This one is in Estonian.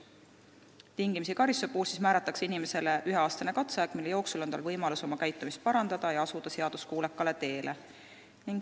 Tingimisi karistuse puhul määratakse inimesele üheaastane katseaeg, mille jooksul on tal võimalus oma käitumist parandada ja asuda seaduskuulekale teele.